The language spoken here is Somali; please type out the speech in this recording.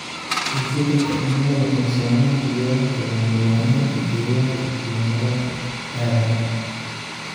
Isbeddelka cimiladu wuxuu saameyn ku yeelan karaa nidaamyada deegaanka iyo nolosha aadanaha.